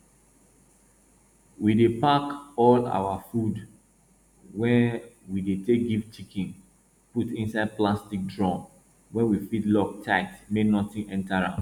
we dey pack all our our food wey we dey take give chicken put inside plastic drum wey we fit lock tigh make nothing enter am